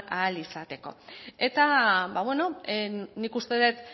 ahal izateko eta nik uste dut